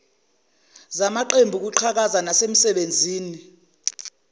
zamaqembu kwiqhaza nasemisebenzini